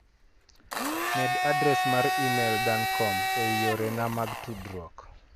Med adres mar imel dancom ei yore na mag tudruok.